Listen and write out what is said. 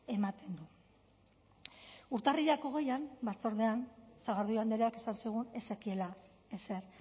ematen du urtarrilak hogeian batzordean sagardui andreak esan zigun ez zekiela ezer